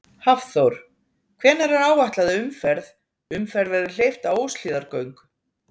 Hafþór: Hvenær er áætlað að umferð, umferð verði hleypt á Óshlíðargöng?